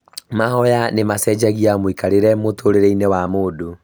Mahoya nĩ macenjagia mũikarĩre mũtũrĩre-inĩ wa mũndũ